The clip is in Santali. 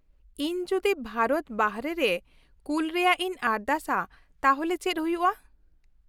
-ᱤᱧ ᱡᱩᱫᱤ ᱵᱷᱟᱨᱚᱛ ᱵᱟᱨᱦᱮ ᱨᱮ ᱠᱩᱞ ᱨᱮᱭᱟᱜ ᱤᱧ ᱟᱨᱫᱟᱥᱟ ᱛᱟᱦᱞᱮ ᱪᱮᱫ ᱦᱩᱭᱩᱜᱼᱟ ?